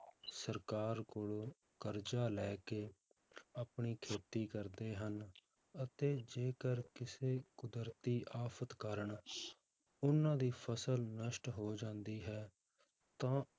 ਸਰਕਾਰ ਕੋਲੋਂ ਕਰਜ਼ਾ ਲੈ ਕੇ ਆਪਣੀ ਖੇਤੀ ਕਰਦੇ ਹਨ, ਅਤੇ ਜੇਕਰ ਕਿਸੇ ਕੁਦਰਤੀ ਆਫ਼ਤ ਕਾਰਨ ਉਹਨਾਂ ਦੀ ਫਸਲ ਨਸ਼ਟ ਹੋ ਜਾਂਦੀ ਹੈ ਤਾਂ